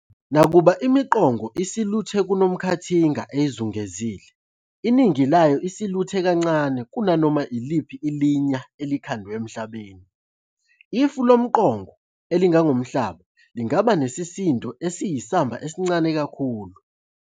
Nakuba imiqongo isiluthe kunomkhathinga eyizungezile, iningi layo isiluthe kancane kunanoma iliphi ilinya elikhandwe emhlabeni - ifu lomqongo elingangomhlaba lingaba nesisindo esiyisamba esincane kakhulu.